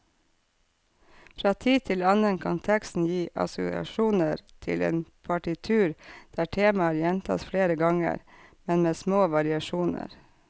Fra tid til annen kan teksten gi assosiasjoner til et partitur der temaer gjentas flere ganger, men med små variasjoner.